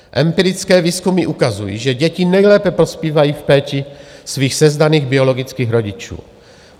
Empirické výzkumy ukazují, že děti nejlépe prospívají v péči svých sezdaných biologických rodičů.